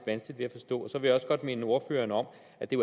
vanskeligt ved at forstå så vil jeg også godt minde ordføreren om at det